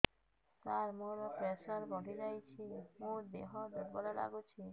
ସାର ମୋର ପ୍ରେସର ବଢ଼ିଯାଇଛି ମୋ ଦିହ ଦୁର୍ବଳ ଲାଗୁଚି